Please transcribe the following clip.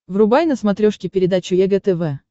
врубай на смотрешке передачу егэ тв